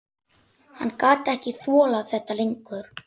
Hann gat ekki þolað þetta lengur.